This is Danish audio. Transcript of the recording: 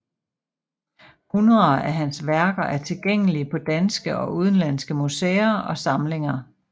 Hundreder af hans værker er tilgængelige på danske og udenlandske museer og samlinger